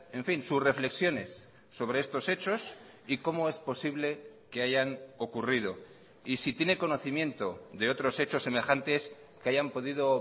en fin sus reflexiones sobre estos hechos y cómo es posible que hayan ocurrido y si tiene conocimiento de otros hechos semejantes que hayan podido